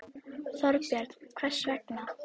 Þorbjörn: Hvers vegna?